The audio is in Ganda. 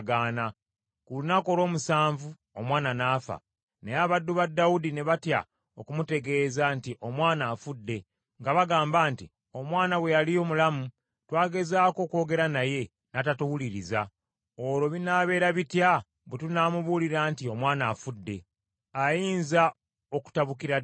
Ku lunaku olw’omusanvu omwana n’afa. Naye abaddu ba Dawudi ne batya okumutegeeza nti omwana afudde, nga bagamba, nti, “Omwana bwe yali omulamu twagezaako okwogera naye, n’atatuwuliriza, olwo binaabeera bitya bwe tunaamubuulira nti omwana afudde? Ayinza okutabukira ddala.”